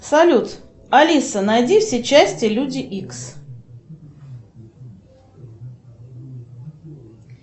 салют алиса найди все части люди икс